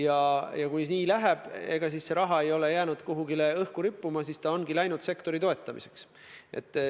Aga kui nii läheb, ega siis see raha ei ole jäänud kuhugi õhku rippuma, siis see ongi läinud sektori toetamiseks.